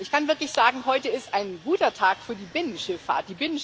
Ich kann wirklich sagen Heute ist ein guter Tag für die Binnenschifffahrt.